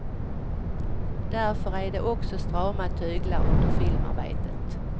Därför är det också strama tyglar under filmarbetet.